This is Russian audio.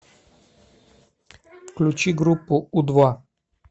включи группу у два